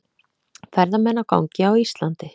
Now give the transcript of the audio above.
Ferðamenn á gangi á Íslandi.